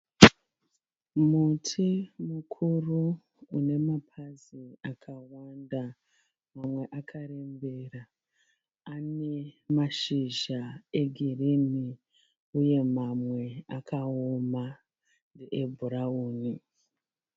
Muti mukuru une mapazi akawanda. Mamwe akarembera. Ane mashizha egirini uye mamwe akawoma ebhurawuni.